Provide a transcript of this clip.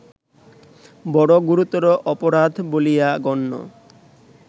বড় গুরুতর অপরাধ বলিয়া গণ্য